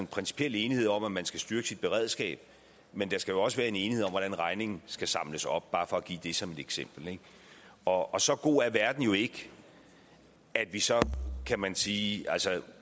principiel enighed om at man skal styrke sit beredskab men der skal også være en enighed om hvordan regningen skal samles op bare for at give det som et eksempel ikke og så god er verden jo ikke at vi så kan man sige